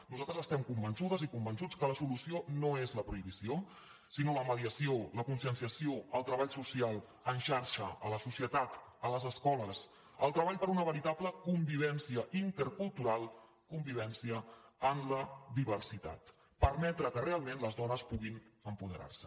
nosaltres estem convençudes i convençuts que la solució no és la prohibició sinó la mediació la conscienciació el treball social en xarxa a la societat a les escoles el treball per una veritable convivència intercultural convivència en la diversitat permetre que realment les dones puguin empoderar se